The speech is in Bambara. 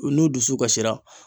U n'u dusu kasira